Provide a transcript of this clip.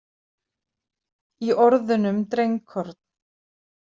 Í orðunum drengkorn.